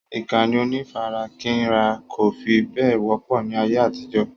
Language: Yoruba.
Ìkànnì onífarakínra kò fi bẹ́ẹ̀ wọ́pọ̀ ní ayé àtijó.